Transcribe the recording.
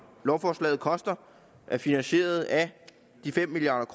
lovforslaget koster er finansieret af de fem milliard